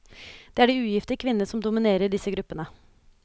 Det er de ugifte kvinnene som dominerer i disse gruppene.